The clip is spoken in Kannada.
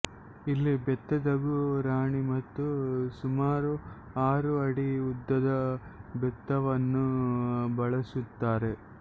ಇಲ್ಲಿ ಬೆತ್ತದಗು ರಾಣಿ ಮತ್ತು ಸುಮಾರು ಆರು ಅಡಿ ಉದ್ದದ ಬೆತ್ತವನ್ನು ಬಳಸುತ್ತಾರೆ